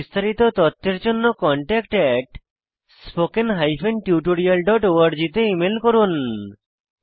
বিস্তারিত তথ্যের জন্য contactspoken tutorialorg তে ইমেল করুন